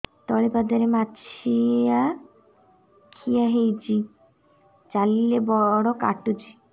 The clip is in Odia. ତଳିପାଦରେ ମାଛିଆ ଖିଆ ହେଇଚି ଚାଲିଲେ ବଡ଼ କାଟୁଚି